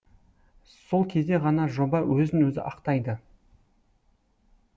сол кезде ғана жоба өзін өзі ақтайды